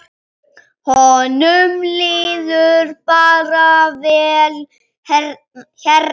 Honum líður bara vel hérna.